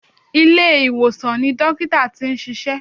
Ilé-ìwòsàn ni dọ́kítà tí n ṣiṣẹ́.